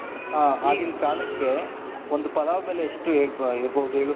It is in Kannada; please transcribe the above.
ಹ ಆಗಿನ ಕಾಲಕ್ಕೆ ಒಂದು ಪಲಾವ್ ಬೆಲೆ ಎಷ್ಟು ಇರಬಹುದು ಹೇಳು,